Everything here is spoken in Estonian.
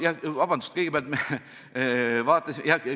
Vabandust!